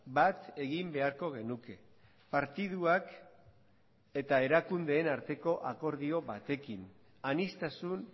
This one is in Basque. bat egin beharko genuke partiduak eta erakundeen arteko akordio batekin aniztasun